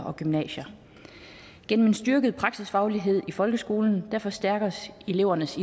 og gymnasier gennem en styrket praksisfaglighed i folkeskolen forstærkes elevernes